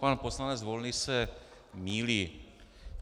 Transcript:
Pan poslanec Volný se mýlí.